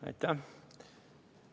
Aitäh!